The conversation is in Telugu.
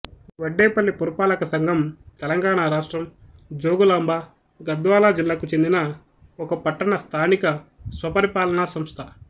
వడ్డేపల్లి పురపాలకసంఘం తెలంగాణ రాష్ట్రం జోగులాంబ గద్వాల జిల్లాకు చెందిన ఒక పట్టణ స్థానిక స్వపరిపాలన సంస్థ